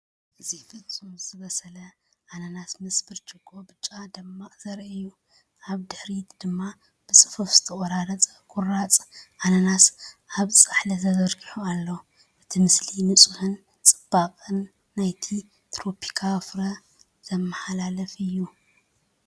እዚ ፍጹም ዝበሰለ ኣናናስ ምስ ብርጭቆ ብጫ ጽማቝ ዘርኢ እዩ። ኣብ ድሕሪት ድማ ብጽፉፍ ዝተቖርጸ ቁራጽ ኣናናስ ኣብ ጻሕሊ ተዘርጊሑ ኣሎ። እቲ ምስሊ ንጽህናን ጽባቐን ናይቲ ትሮፒካዊ ፍረ ዘመሓላልፍ እዩ።